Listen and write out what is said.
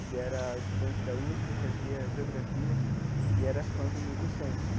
Ele era estudante da USP, fazia geografia e era fã do Milton Santos né.